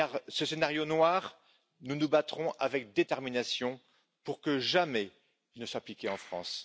Ce scénario noir, nous nous battrons avec détermination pour que jamais il ne soit appliqué en France.